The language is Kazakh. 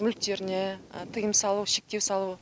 мүліктеріне тиым салу шектеу салу